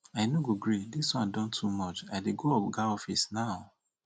i no go gree dis wan don too much i dey go oga office now